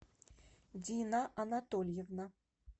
дина анатольевна